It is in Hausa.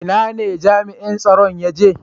Ina ne jami'in tsaron ya je?